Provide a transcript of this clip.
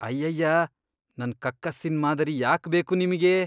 ಅಯ್ಯಯ್ಯಾ.. ನನ್ ಕಕ್ಕಸ್ಸಿನ್ ಮಾದರಿ ಯಾಕ್ಬೇಕು ನಿಮ್ಗೆ?!